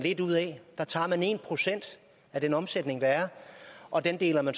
tager en procent af den omsætning der er og deler